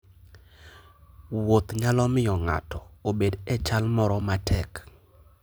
Wuoth nyalo miyo ng'ato obed e chal moro matek.